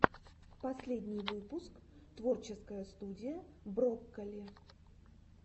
последний выпуск творческая студия брокколи